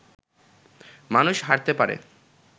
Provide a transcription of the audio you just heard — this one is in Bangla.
মানুষ হারতে পারে